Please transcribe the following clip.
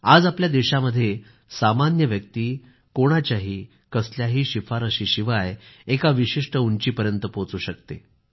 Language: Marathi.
आज आपल्या देशामध्ये सामान्य व्यक्ती कोणाच्याही कसल्याही शिफारसीशिवाय एका विशिष्ट उंचीपर्यंत पोहोचू शकतो